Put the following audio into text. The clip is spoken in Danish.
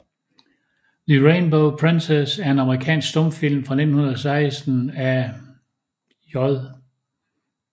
The Rainbow Princess er en amerikansk stumfilm fra 1916 af J